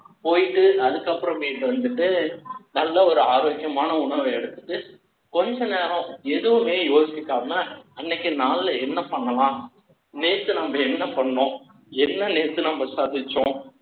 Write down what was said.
போயிட்டு, அதுக்கப்புறமேட்டு வந்துட்டு, நல்ல ஒரு ஆரோக்கியமான உணவை எடுத்துட்டு, கொஞ்ச நேரம் எதுவுமே யோசிக்காம, அன்னைக்கு நாள்ல, என்ன பண்ணலாம் நேத்து, நம்ம என்ன பண்ணோம் என்ன நேத்து நம்ம சாதிச்சோம்